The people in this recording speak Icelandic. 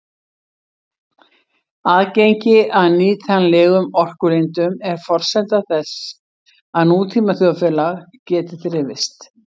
Aðgengi að nýtanlegum orkulindum er forsenda þess að nútíma þjóðfélag geti þrifist.